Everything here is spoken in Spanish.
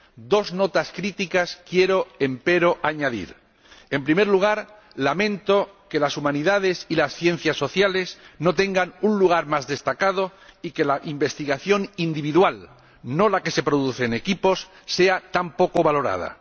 Dos notas críticas quiero, empero, añadir en primer lugar, lamento que las humanidades y las ciencias sociales no tengan un lugar más destacado y que la investigación individual —no la que se produce en equipos— sea tan poco valorada.